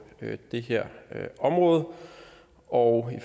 det her område og